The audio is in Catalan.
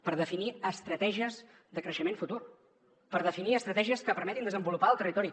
per definir estratègies de creixement futur per definir estratègies que permetin desenvolupar el territori